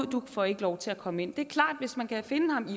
du får ikke lov til at komme ind det er klart at hvis man kan finde ham i